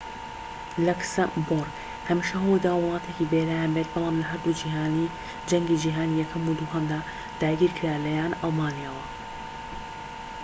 لەکسەمبۆرگ هەمیشە هەوڵیداوە وڵاتێکی بێلایەن بێت بەڵام لە هەردوو جەنگی جیهانی یەکەم و دووهەمدا داگیرکرا لەلایەن ئەڵمانیاوە